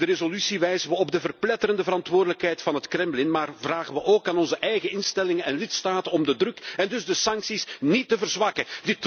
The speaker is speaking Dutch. In de resolutie wijzen we op de verpletterende verantwoordelijkheid van het Kremlin maar vragen we ook aan onze eigen instellingen en lidstaten om de druk en dus de sancties niet te verzwakken.